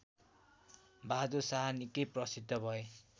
बाहदुर शाह निकै प्रसिद्ध भए